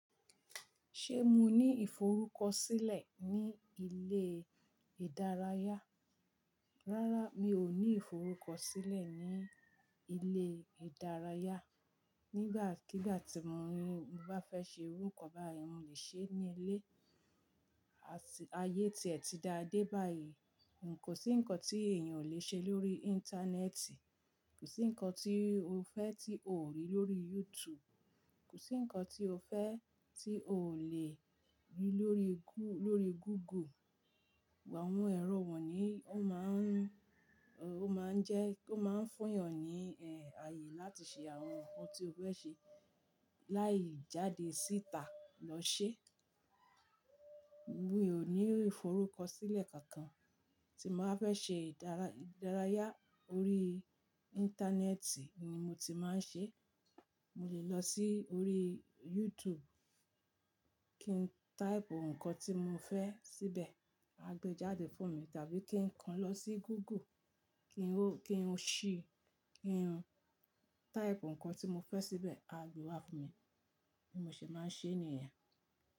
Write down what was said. Ṣé mo ní ìforúkọ̀sílẹ̀ ní ilé ìdárayá? Rárá, mi ò ní ìforúkọ̀sílẹ̀ ní ilé ìdárayá. Nígbàkigbà tí mo bá fẹ́ ṣe irú ǹkan báyẹn, mo le ṣe ẹ́ ní ilé. Ayé tí ẹ̀ ti da dé báyìí, kò sí nǹkan tí èèyàn ò le ṣe lórí íńtánẹ́ẹ̀tì, kò sí nǹkan tí o fẹ́ tí o ò rí lórí YouTube, kò sí nǹkan tí o fẹ́ tí o ò le rí lórí Google. Àwọn ẹ̀rọ wọ̀ní ó máa ń jẹ́ kó máa ń fún yàn ní ààyè láti ṣe àwọn nǹkan tí o fẹ́ ṣe láì jáde síta lọ ṣe. Mi ò ní ìforúkọ̀sílẹ̀ kankan tí màá fẹ́ ṣe ìdárayá orí íńtánẹ́ẹ̀tì ni mo ti máa ń ṣe. Mo le lọ sí orí YouTube kí n táìpù nǹkan tí mo fẹ́ síbẹ̀, á gbe jáde fún mi. Tàbí kí n kan lọ sí Google kí n ṣí, kí n táìpù nǹkan tí mo fẹ́ síbẹ̀, á gbe wá fún mi. Bon ṣe é máa nṣe ènìyàn.